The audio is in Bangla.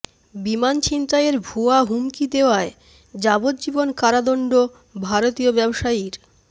বিমান ছিনতাইয়ের ভুয়া হুমকি দেওয়ায় যাবজ্জীবন কারাদণ্ড ভারতীয় ব্যবসায়ীর